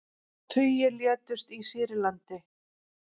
Tugir létust í Sýrlandi